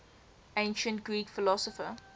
ancient greek philosopher